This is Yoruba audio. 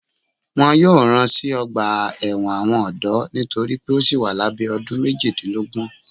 Wọn yóò rán sí ọgba ẹwọn tí àwọn ọdọ nitori pe o síi wà labẹ ọdún méjìdínlógún.